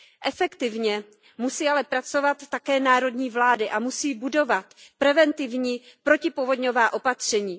Efektivně musí ale pracovat také národní vlády a musí budovat preventivní protipovodňová opatření.